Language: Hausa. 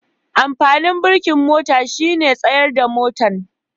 Amfanin birikin mota shine tsayar da motan.